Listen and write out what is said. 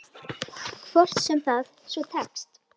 Hvort sem það svo tekst.